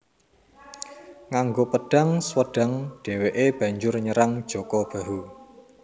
Nganggo pedhang Swedhang dheweke banjur nyerang Jaka Bahu